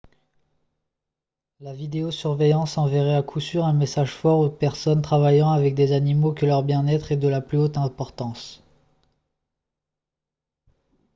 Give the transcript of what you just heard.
« la vidéo-surveillance enverrait à coup sûr un message fort aux personnes travaillant avec des animaux que leur bien-être est de la plus haute importance »